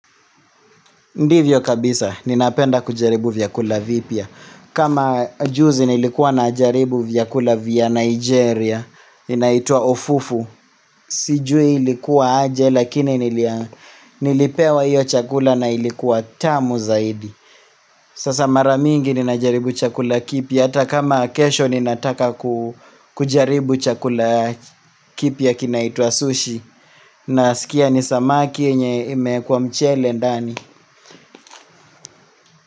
Ndivyo kabisa, ninapenda kujaribu vyakula vipya. Kama juzi nilikuwa najaribu vyakula vya Nigeria, inaitwa Ofufu. Sijui ilikuwa aje, lakini nilipewa hio chakula na ilikuwa tamu zaidi. Sasa mara mingi ninajaribu chakula kipya. Hata kama kesho, ninataka kujaribu chakula ya kipya kinaitwa sushi. Naskia ni samaki yenye imeekwa mchele ndani.